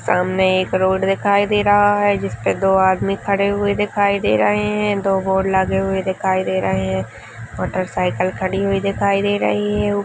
सामने एक रोड दिखाई दे रहा है जिसपे दो आदमी खड़े हुए दिखाई दे रहे है दो बोर्ड लगे हुए दिखाई दे रहे है मोटर साईकिल खड़ी हुई दिखाई दे रही है।